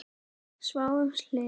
Sváfum hlið við hlið.